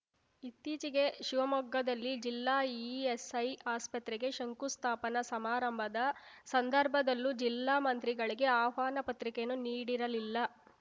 ಇತ್ತೀಚೆಗೆ ಶಿವಮೊಗ್ಗದಲ್ಲಿ ಜಿಲ್ಲಾ ಇಎಸ್‌ಐ ಆಸ್ಪತ್ರೆಗೆ ಶಂಕುಸ್ಥಾಪನಾ ಸಮಾರಂಭದ ಸಂದರ್ಭದಲ್ಲೂ ಜಿಲ್ಲಾ ಮಂತ್ರಿಗಳಿಗೆ ಆಹ್ವಾನ ಪತ್ರಿಕೆಯನ್ನು ನೀಡಿರಲಿಲ್ಲ